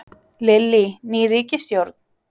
Lillý: Ný ríkisstjórn?